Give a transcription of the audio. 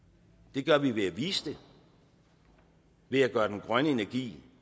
det gør vi ved at vise det ved at gøre den grønne energi